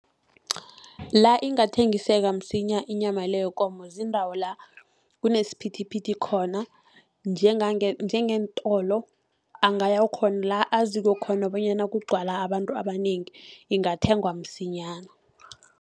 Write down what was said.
La ingathengiseka msinya inyama le yikomo, ziindawo la kunesiphithiphithi khona, njengeentolo angaya khona la azikho khona bonyana kugcwala abantu abanengi, ingathengwa msinyana.